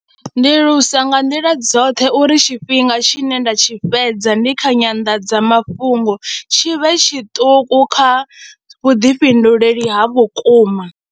Ndi lusa nga nḓila dzoṱhe uri tshifhinga tshine nda tshi fhedza ndi kha nyandadzamafhungo tshi vhe tshiṱuku kha vhuḓifhinduleli ha vhukuma.